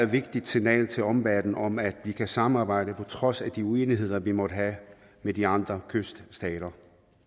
vigtigt signal til omverdenen om at vi kan samarbejde på trods af de uenigheder vi måtte have med de andre kyststater